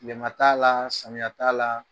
Tilema t'a la samiyɛ t'a la.